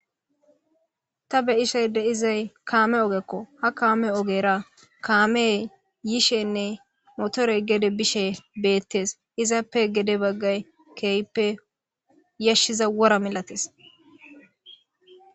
ta beyishey de7izay kaame ogekko ha kaame ogera kaame yiishenne motorey gede bishe beettes izappe gede baggay keehippe yashshiza wora milates